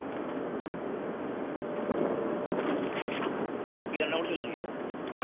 তো কি রান্না করেছিলে আজকে